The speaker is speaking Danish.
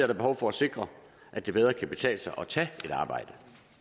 der behov for at sikre at det bedre kan betale sig at tage et arbejde